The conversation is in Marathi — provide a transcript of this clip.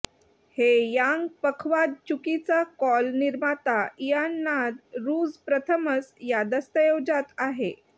हे यांग पखवाज चुकीचा कॉल निर्माता इयान नाद रूज प्रथमच या दस्तऐवजात आहे